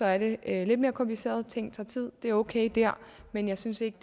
er det lidt mere kompliceret ting tager tid det er okay der men jeg synes ikke